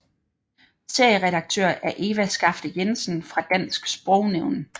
Serieredaktør er Eva Skafte Jensen fra Dansk Sprognævn